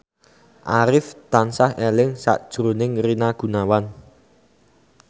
Arif tansah eling sakjroning Rina Gunawan